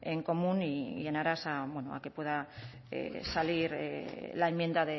en común y en aras a que pueda salir la enmienda